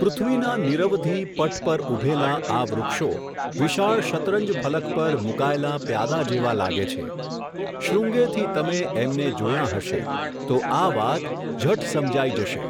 પૃથ્વીના નિરવધિ, પટ પર ઊભેલાં, આ વૃક્ષો, વિશાળ શતરંજફલક પર, મૂકાયેલાં પ્યાદાં જેવાં લાગે છે, શૃંગેથી તમે, એમને જોયાં હશે, તો આ વાત, ઝટ સમજાઈ જશે.